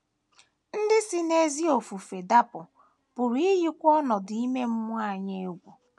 Ndị si n’ezi ofufe dapụ pụrụ iyikwu ọnọdụ ime mmụọ anyị egwu.